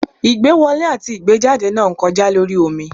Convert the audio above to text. Igbẹ́wọlẹ atí igbejádẹ na ń kojá lorí omí